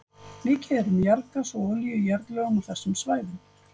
Mikið er um jarðgas og olíu í jarðlögum á þessum svæðum.